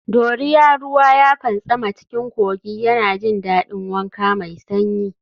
Doria ruwa ya fantsama cikin kogi yana jin daɗin wanka mai sanyi.